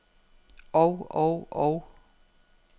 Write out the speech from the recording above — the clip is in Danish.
og og og